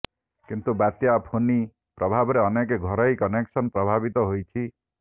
କିନ୍ତୁ ବାତ୍ୟା ଫୋନି ପ୍ରଭାବରେ ଅନେକ ଘରୋଇ କନେକ୍ସନ ପ୍ରଭାବିତ ହୋଇଛି